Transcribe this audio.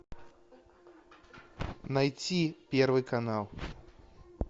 найти первый канал